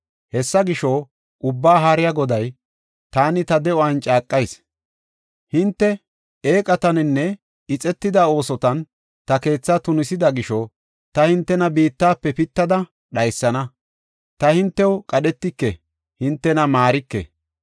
Hessa gisho, Ubbaa Haariya Goday, taani ta de7uwan caaqayis. Hinte eeqataninne ixetida oosotan ta keetha tunisida gisho, ta hintena biittafe pittada dhaysana. Ta hintew qadhetike; hintena maarike.